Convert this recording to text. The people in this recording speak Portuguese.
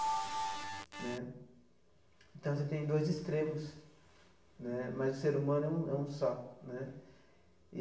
Né então, você tem dois extremos né, mas o ser humano é um é um só né.